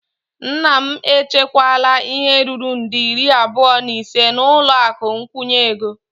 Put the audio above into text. Nna m echekwala ihe ruru nde iri abụọ na ise n'ụlọ akụ nkwụnye ego.